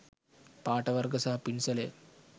පාට වර්ග සහ පින්සලය